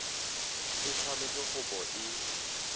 e tshwanetse go bo e